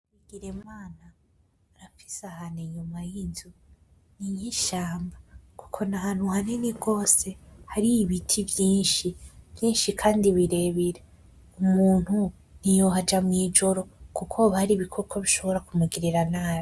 Bigirimana arafise ahantu inyuma y'inzu ni nkishamba kuko nahantu hanini gose hari ibiti vyinshi, vyinshi kandi birebire umuntu ntiyohaja mwijoro kuko hari ibikoko bishobora kumugirira nabi.